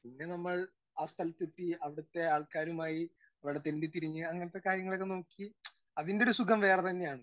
Speaker 1 പിന്നെ നമ്മൾ ആ സ്ഥലത്തെത്തി അവിടത്തെ ആൾക്കാരുമായി അവിടെ തെണ്ടിത്തിരിഞ്ഞ് അങ്ങനത്തെ കാര്യങ്ങളൊക്കെ നോക്കി അതിന്റെ ഒരു സുഖം വേറെത്തന്നെ ആണ്.